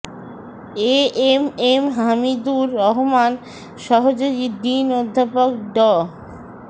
এ M M Hamidur Rahman সহযোগী dean অধ্যাপক ড